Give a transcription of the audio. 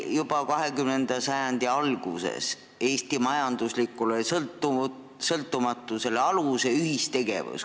Juba 20. sajandi alguses pani ühistegevus aluse Eesti majanduslikule sõltumatusele.